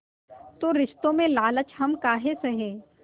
तो रिश्तों में लालच हम काहे सहे